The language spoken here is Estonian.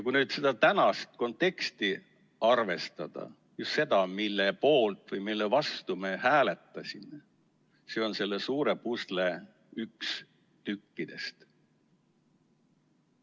Kui nüüd seda tänast konteksti arvestada, seda, mille poolt või mille vastu me hääletasime, see on selle suure pusle üks tükkidest.